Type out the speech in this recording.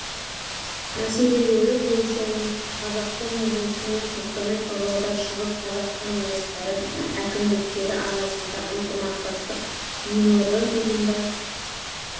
мәселелері бойынша оңтүстік қазақстан облысы мен қостанай павлодар шығыс қазақстан облыстары әкімдіктері арасында ынтымақтастық меморандумына